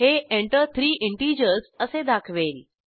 हे Enter three integers असे दाखवेल